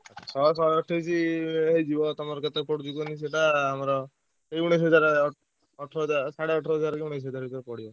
ଶହେ ଶହେଅଠେଇସି ହେଇଯିବ ତମର କେତେ ପଡ଼ୁଚି କହିଲ ସେଟା ଆମର ଉଣେଇସି ହଜାର ଅଠର ହଜାର ସାଢେ ଅଠର ହଜାର କି ଉଣେଇସି ହଜାର ଭିତରେ ପଡ଼ିବ।